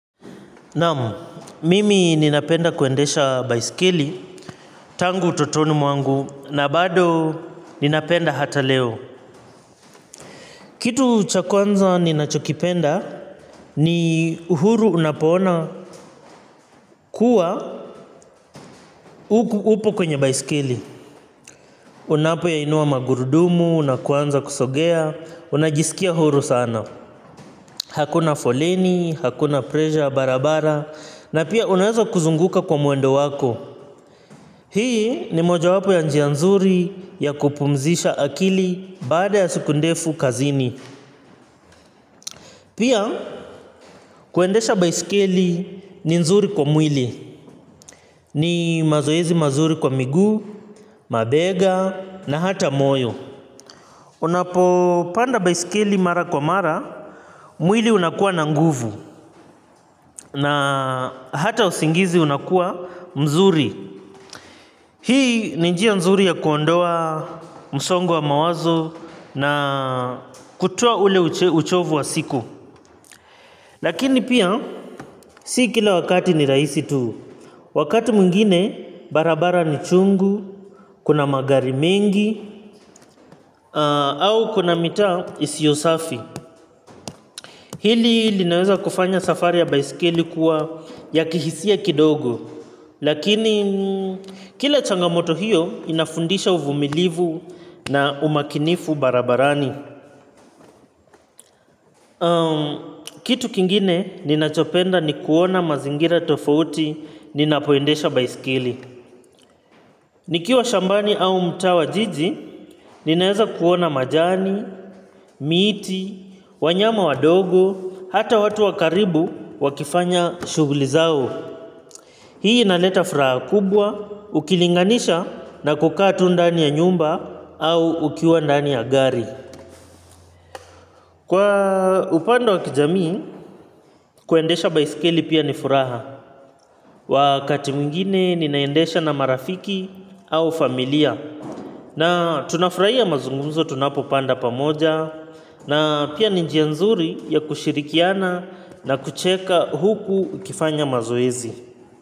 Naam mimi ninapenda kuendesha baisikeli tangu utotoni mwangu na bado ninapenda hata leo. Kitu cha kwanza ninachokipenda ni uhuru unapoona kuwa upo kwenye baiskeli. Unapo yainuwa magurudumu na kuanza kusogea unajisikia huru sana. Hakuna folenihakuna presha barabara na pia unaweza kuzunguka kwa mwendo wako. Hii ni mojawapo ya njia nzuri ya kupumzisha akili baada ya siku ndefu kazini. Pia kuendesha baisikeli ni nzuri kwa mwili. Ni mazoezi mazuri kwa miguu mabega na hata moyo. Unapo panda baisikeli mara kwa mara mwili unakua na nguvu na hata usingizi unakua mzuri. Hii ni njia nzuri ya kuondoa msongo wa mawazo na kutoa ule uchovu wa siku. Lakini pia si kila wakati ni rahisi tu. Wakati mwingine barabara ni chungu kuna magari mengi au kuna mitaa isiyo safi. Hili linaweza kufanya safari ya baisikeli kuwa ya kihisia kidogo. Lakini kila changamoto hiyo inafundisha uvumilivu na umakinifu barabarani. Kitu kingine ninachopenda ni kuona mazingira tofauti ninapoendesha baisikeli. Nikiwa shambani au mtaa wa jiji ninaweza kuona majani miti wanyama wadogo hata watu wakaribu wakifanya shuguli zao. Hii inaleta furaha kubwa ukilinganisha na kukaa tu ndani ya nyumba au ukiwa ndani ya gari. Kwa upande wa kijamii kuendesha baisikeli pia ni furaha. Wakati mwingine ninaendesha na marafiki au familia. Na tunafurahia ya mazungumzo tunapopanda pamoja. Na pia ni njia nzuri ya kushirikiana na kucheka huku ukifanya mazoezi.